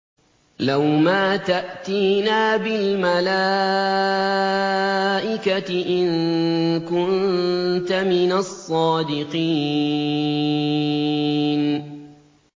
لَّوْ مَا تَأْتِينَا بِالْمَلَائِكَةِ إِن كُنتَ مِنَ الصَّادِقِينَ